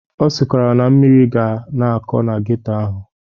Ọ sịkwara na mmiri ga na-akọ na geto ahụ.